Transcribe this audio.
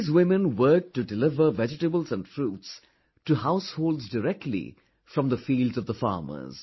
These women worked to deliver vegetables and fruits to households directly from the fields of the farmers